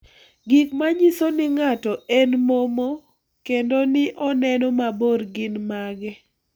Gik manyiso ni ng'ato en momo kendo ni oneno mabor gin mage?